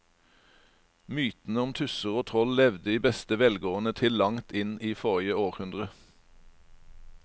Mytene om tusser og troll levde i beste velgående til langt inn i forrige århundre.